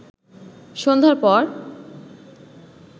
সন্ধ্যার পর